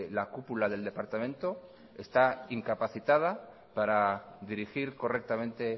la cúpula del departamento está incapacitada para dirigir correctamente